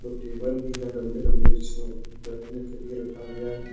Table भी है लंबे लंबे जिसमें बैठने के लिए रखा गया है।